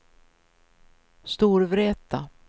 Storvreta